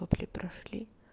вопли прошли